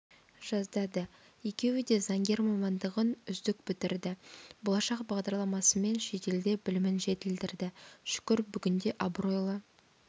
жаздады екеуі де заңгер мамандығын үздік бітірді болашақ бағдарламасымен шетелде білімін жетілдірді шүкір бүгінде абыройлы